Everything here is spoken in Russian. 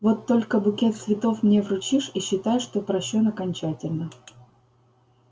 вот только букет цветов мне вручишь и считай что прощён окончательно